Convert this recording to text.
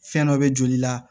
Fɛn dɔ bɛ joli la